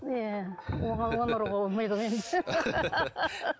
иә оған оны ұруға болмайды ғой енді